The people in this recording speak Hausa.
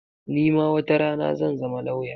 Ni ma watarana zan zama lawya.